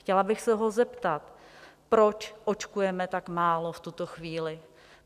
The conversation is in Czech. Chtěla bych se ho zeptat, proč očkujeme tak málo v tuto chvíli?